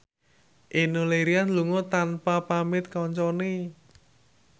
Enno Lerian lunga tanpa pamit kancane